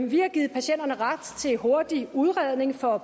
vi har givet patienterne ret til hurtig udredning for